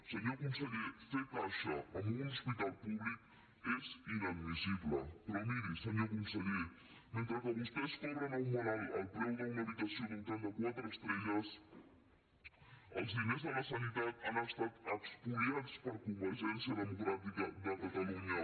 senyor conseller fer caixa amb un hospital públic és inadmissible però miri senyor conseller mentre que vostès cobren a un malalt el preu d’una habitació d’hotel de quatre estrelles els diners de la sanitat han estat espoliats per convergència democràtica de catalunya